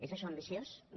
és això ambiciós no